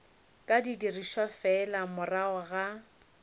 ka dirišwa fela morago ga